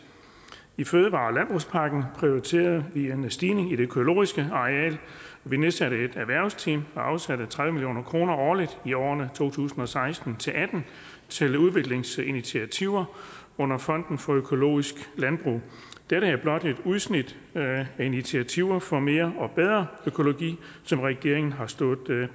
i fødevare og landbrugspakken er prioriteret en stigning i det økologiske areal og vi nedsatte et erhvervsteam og afsatte tredive million kroner årligt i årene to tusind og seksten til atten til udviklingsinitiativer under fonden for økologisk landbrug dette er blot et udsnit af initiativer for mere og bedre økologi som regeringen har stået